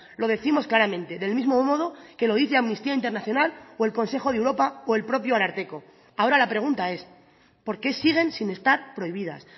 lo décimos claramente del mismo modo que lo dice amnistía internacional o el consejo de europa o el propio ararteko ahora la pregunta es por qué siguen sin estar prohibidas